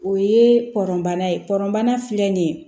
O ye pɔnbana ye pɔrɔnbana filɛ nin ye